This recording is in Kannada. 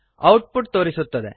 ಔಟ್ ಪುಟ್ ತೋರಿಸುತ್ತದೆ